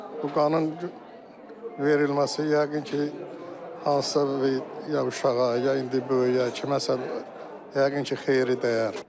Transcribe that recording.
Bu qanın verilməsi yəqin ki, hansısa bir ya uşağa, ya indi böyüyə, kiməsə yəqin ki, xeyri dəyər.